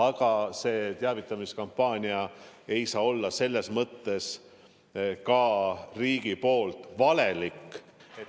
Aga see teavitamiskampaania ei saa riigi poolt valelik olla.